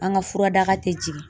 An ka furadaga te jigin.